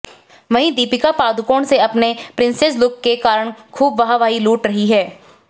वहीं दीपिका पादुकोण से अपने प्रिंसेस लुक के कारण खुब वाहवाही लूट रही हैं